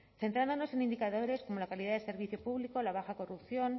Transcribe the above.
centrándonos en indicadores como la calidad de servicio público o la baja corrupción